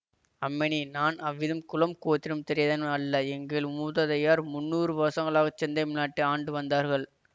அம்மணி நான் அவ்விதம் குலம் கோத்திரம் தெரியாதவன் அல்ல எங்கள் மூதாதையர் முந்நூறு வருசங்களாகச் செந்தமிழ் நாட்டை ஆண்டு வந்தார்கள்